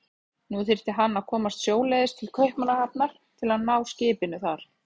Nú þyrfti hann að komast sjóleiðis til Kaupmannahafnar til að ná skipinu þar.